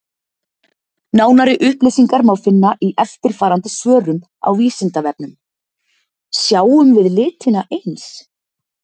Nánari upplýsingar má finna í eftirfarandi svörum á Vísindavefnum: Sjáum við litina eins?